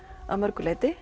að mörgu leyti